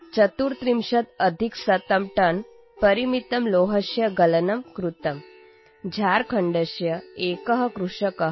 कृतम् | झारखण्डस्य एकः कृषकः मुद्गरस्य दानं कृतवान् | भवन्तः